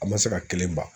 An ma se ka kelen ban